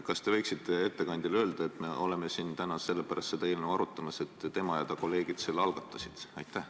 Kas te võiksite ettekandjale öelda, et me oleme siin täna seda eelnõu arutamas, sest et tema ja ta kolleegid selle algatasid?